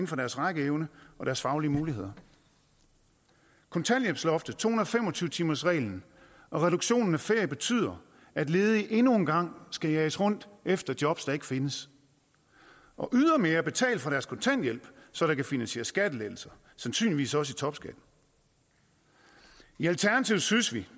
for deres rækkeevne og deres faglige muligheder kontanthjælpsloftet to hundrede og fem og tyve timersreglen og reduktionen af ferie betyder at ledige endnu en gang skal jages rundt efter jobs der ikke findes og ydermere betale for deres kontanthjælp så der kan finansieres skattelettelser sandsynligvis også i topskatten i alternativet synes vi